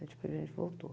Depois a gente voltou.